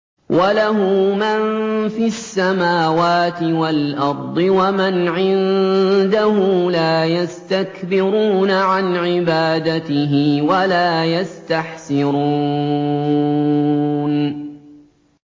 وَلَهُ مَن فِي السَّمَاوَاتِ وَالْأَرْضِ ۚ وَمَنْ عِندَهُ لَا يَسْتَكْبِرُونَ عَنْ عِبَادَتِهِ وَلَا يَسْتَحْسِرُونَ